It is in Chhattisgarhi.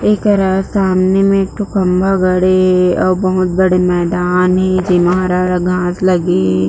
ऐकरा सामने में एकठो खम्बा गड़े हे ओ बहुत बड़े मैदान हे जेमा हरा-हरा घाँस लगे हे।